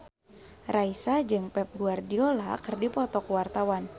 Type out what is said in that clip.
Raisa jeung Pep Guardiola keur dipoto ku wartawan